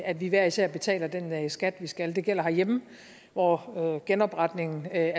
at vi hver især betaler den skat vi skal det gælder herhjemme hvor genopretningen af